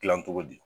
Gilan cogo di